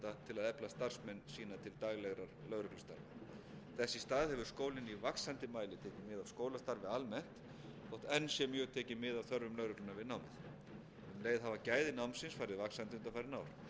til daglegra lögreglustarfa þess í stað hefur skólinn í vaxandi mæli tekið mið af skólastarfi almennt þótt enn sé mjög tekið mið af þörfum lögreglunnar við námið um leið hafa gæði námsins farið vaxandi undanfarin ár